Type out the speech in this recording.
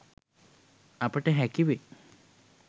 අපට හැකිවේ